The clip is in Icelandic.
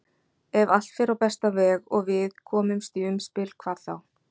Ef allt fer á besta veg og við komumst í umspil hvað þá?